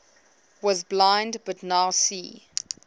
was blind but now see